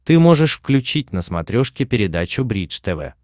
ты можешь включить на смотрешке передачу бридж тв